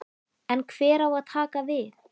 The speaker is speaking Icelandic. En hver á að taka við?